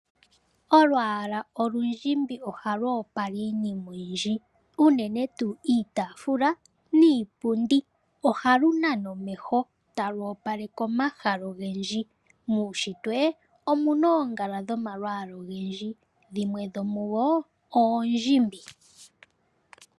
Olwaala olundjimbi ohalu opala iinima oyindji, unene tuu iitafula niipundi. Ohalu nana omeho talu opaleke omahala ogendji. Muunshitwe omu na oongala dhomalwaala ogendji, dhimwe dhomudho oondjimbi.